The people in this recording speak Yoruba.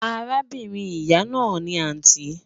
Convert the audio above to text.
Àràbìnrin ìyà náà ni àntí